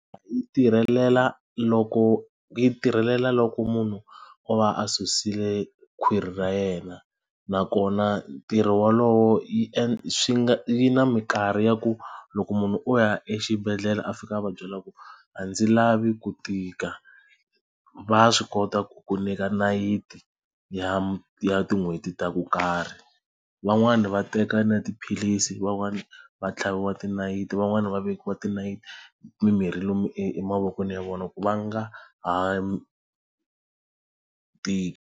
Yi tirhelela loko yi tirhelela loko munhu o va a susile khwiri ra yena nakona ntirho wolowo swi nga yi na minkarhi ya ku loko munhu o ya exibedhlele a fika a va byela ku a ndzi lavi ku tika va swi kota ku ku nyika nayiti ya ya tin'hweti ta ku karhi van'wani va teka na tiphilisi van'wani va tlhaviwa tinayiti van'wani va vekiwa tinayiti mimirhi lomu emavokweni ya vona ku va nga ha tiki.